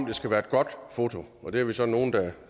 det skal være et godt foto og det er vi så nogle der